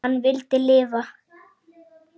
Hann vildi lifa.